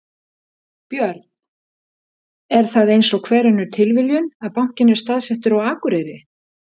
Björn: Er það eins og hver önnur tilviljun að bankinn er staðsettur á Akureyri?